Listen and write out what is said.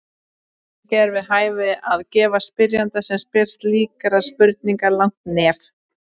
Ekki er við hæfi að gefa spyrjanda sem spyr slíkrar spurningar langt nef.